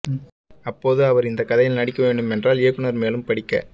அப்போது அவர் இந்த கதையில் நடிக்க வேண்டும் என்றால் இயக்குனர் மேலும் படிக்க